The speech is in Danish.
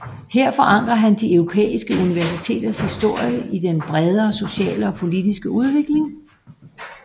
Her forankrer han de europæiske universiteters historie i den bredere sociale og politiske udvikling